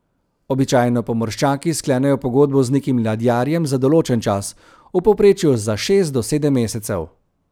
Običajno pomorščaki sklenejo pogodbo z nekim ladjarjem za določen čas, v povprečju za šest do sedem mesecev.